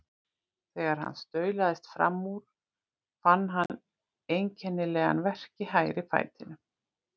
Þegar hann staulaðist fram úr fann hann einkennilegan verk í hægri fætinum.